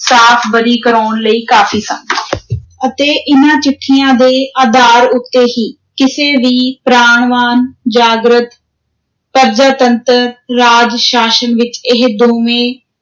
ਸਾਫ਼ ਬਰੀ ਕਰਵਾਉਣ ਲਈ ਕਾਫ਼ੀ ਸਨ ਅਤੇ ਇਨ੍ਹਾਂ ਚਿੱਠੀਆਂ ਦੇ ਆਧਾਰ ਉਤੇ ਹੀ ਕਿਸੇ ਵੀ ਪ੍ਰਾਣਵਾਨ, ਜਾਗ੍ਰਤ, ਪਰਜਾਤੰਤਰ ਰਾਜ-ਸ਼ਾਸਨ ਵਿਚ ਇਹ ਦੋਵੇਂ